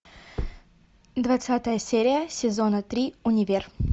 двадцатая серия сезона три универ